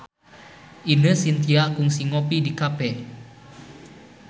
Ine Shintya kungsi ngopi di cafe